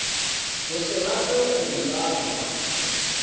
go se rate go lalwa